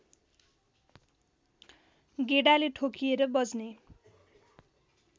गेडाले ठोकिएर बज्ने